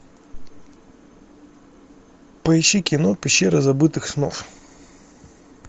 поищи кино пещера забытых снов